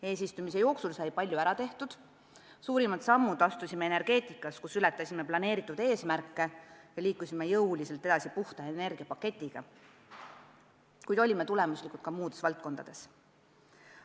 Eesistumise jooksul sai palju ära tehtud, suurimad sammud astusime energeetikas, kus ületasime plaanitud eesmärke ja liikusime jõuliselt edasi puhta energia paketiga, kuid olime tulemuslikud ka muudes valdkondades.